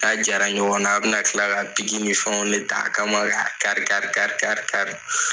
K'a jara ɲɔgɔnna a bɛna kila ka ni fɛnw ne t'a kama k'a kari kari kari kari kari